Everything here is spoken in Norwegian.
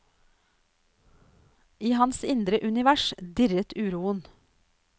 I hans indre univers dirret uroen.